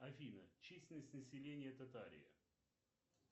афина численность населения татарии